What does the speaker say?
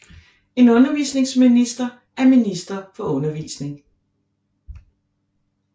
En undervisningsminister er minister for undervisning